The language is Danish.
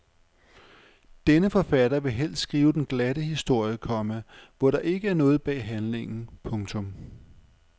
Denne forfatter vil helst skrive den glatte historie, komma hvor der ikke er noget bag handlingen. punktum